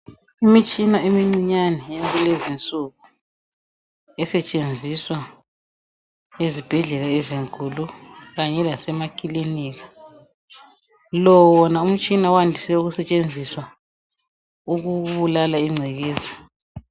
Imitshina emincinyane yakulezinsuku, esetshenziswa ezibhedlela ezinkulu, kanye lasemakilinika. Lowona umtshina wandise ukusetshenziswa ukubulala ingcekeza.